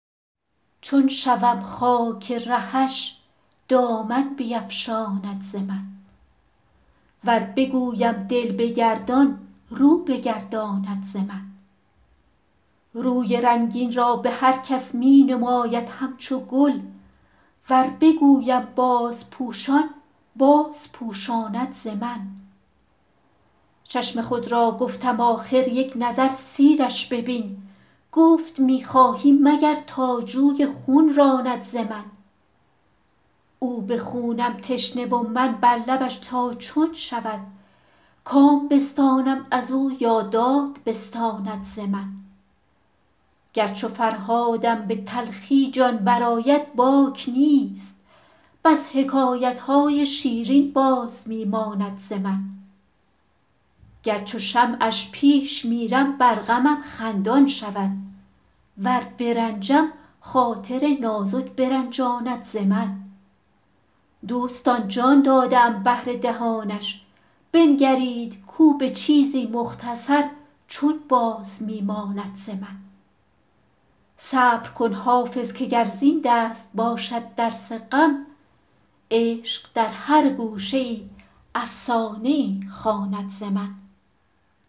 چون شوم خاک رهش دامن بیفشاند ز من ور بگویم دل بگردان رو بگرداند ز من روی رنگین را به هر کس می نماید همچو گل ور بگویم بازپوشان بازپوشاند ز من چشم خود را گفتم آخر یک نظر سیرش ببین گفت می خواهی مگر تا جوی خون راند ز من او به خونم تشنه و من بر لبش تا چون شود کام بستانم از او یا داد بستاند ز من گر چو فرهادم به تلخی جان برآید باک نیست بس حکایت های شیرین باز می ماند ز من گر چو شمعش پیش میرم بر غمم خندان شود ور برنجم خاطر نازک برنجاند ز من دوستان جان داده ام بهر دهانش بنگرید کو به چیزی مختصر چون باز می ماند ز من صبر کن حافظ که گر زین دست باشد درس غم عشق در هر گوشه ای افسانه ای خواند ز من